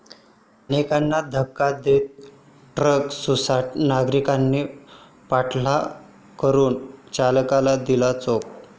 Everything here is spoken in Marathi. अनेकांना धडक देत ट्रक सुसाट, नागरिकांनी पाठलाग करून चालकाला दिला चोप